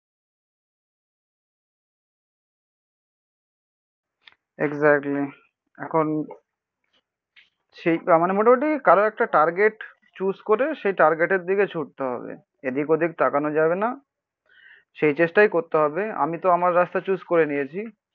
Exactly এখন সেই মানে মোটামুটি কারো একটা টার্গেট চুজ করে সেই টার্গেটের দিকে ছুটতে হবে এদিক ওদিক তাকানো যাবে না. সেই চেষ্টাই করতে হবে. আমি তো আমার রাস্তা চুজ করে নিয়েছি